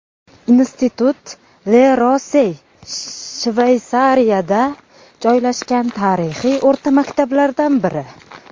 Institut Le Rosey Shveysariyada joylashgan tarixiy o‘rta maktablardan biri.